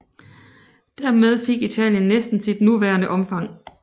Dermed fik Italien næsten sit nuværende omfang